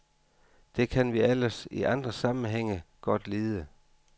Det kan vi ellers i andre sammenhænge godt lide.